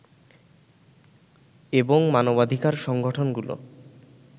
এবং মানবাধিকার সংগঠনগুলো